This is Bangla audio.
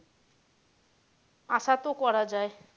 আশা তো করা যায়।